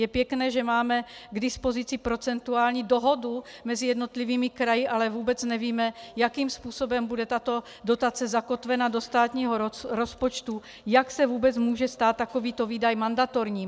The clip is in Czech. Je pěkné, že máme k dispozici procentuální dohodu mezi jednotlivými kraji, ale vůbec nevíme, jakým způsobem bude tato dotace zakotvena do státního rozpočtu, jak se vůbec může stát takovýto výdaj mandatorním.